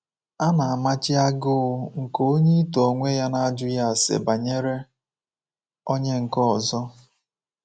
A na-amachi agụụ nke onye ito onwe ya n’ajụghị ase banyere onye nke ọzọ.